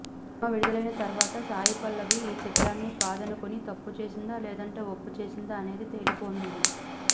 cinema విడుదలైన తర్వాత సాయి పల్లవి ఈ చిత్రాన్ని కాదనుకుని తప్పు చేసిందా లేదంటే ఒప్పు చేసిందా అనేది తేలిపోనుంది